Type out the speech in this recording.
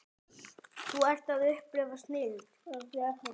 Þú ert að upplifa snilld.